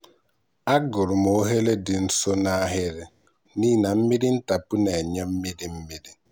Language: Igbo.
agụrụ m oghere dị nso n'ahịrị n'ihi na mmiri ntapu na-enye mmiri mmiri.